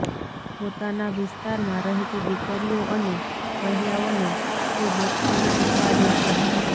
પોતાના વિસ્તારમાં રહેતી દીકરીઓ અને મહિલાઓને તે બોક્સિંગ શીખવાડે છે